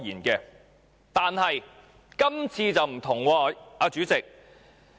然而，這次卻不同，代理主席。